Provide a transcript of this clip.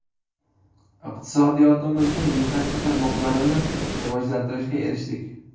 Iqtisodiyotimizning yetakchi tarmoqlarini rivojlantirishga erishdik.